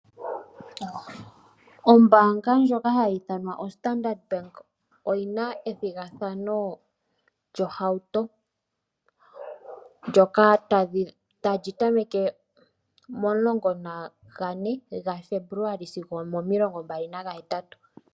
Ombaanga ndjoka hayi ithanwa Standard Bank oyina ethigathano lyohauto. Ndyoka tali tameke momulongo nagane gafebuluali sigo omo milongo mbali naga hetatu.